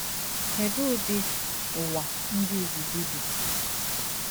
Kedụ udi ụwa ndị izizi bi?